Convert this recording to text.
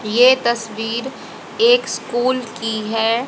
ये तस्वीर एक स्कूल की है।